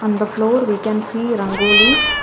on the floor we can see rangolis.